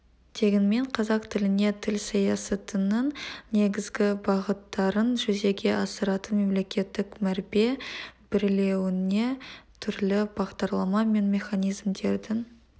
дегенмен қазақ тіліне тіл саясатының негізгі бағыттарын жүзеге асыратын мемлекеттік мәрбе берілуіне түрлі бағдарлама мен механизмдердің